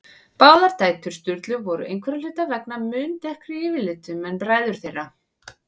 Báðar dætur Sturlu voru einhverra hluta vegna mun dekkri yfirlitum en bræður þeirra.